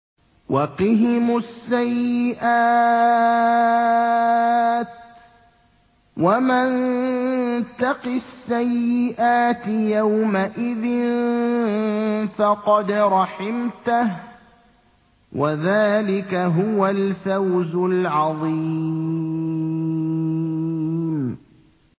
وَقِهِمُ السَّيِّئَاتِ ۚ وَمَن تَقِ السَّيِّئَاتِ يَوْمَئِذٍ فَقَدْ رَحِمْتَهُ ۚ وَذَٰلِكَ هُوَ الْفَوْزُ الْعَظِيمُ